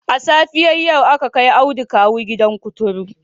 A safiyar yau aka kai Audu kawu gidan kuturu